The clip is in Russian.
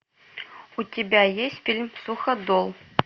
у тебя есть фильм суходол